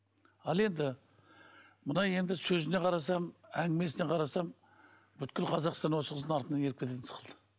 ал енді мына енді сөзіне қарасам әңгімесіне қарасам бүкіл қазақстан осы қыздың артынан еріп кететін сықылды